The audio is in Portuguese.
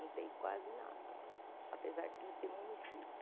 Não tem quase nada lá, apesar de ser município.